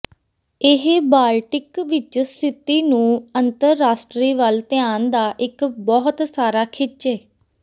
ਇਹ ਬਾਲਟਿਕ ਵਿਚ ਸਥਿਤੀ ਨੂੰ ਅੰਤਰਰਾਸ਼ਟਰੀ ਵੱਲ ਧਿਆਨ ਦਾ ਇੱਕ ਬਹੁਤ ਸਾਰਾ ਖਿੱਚੇ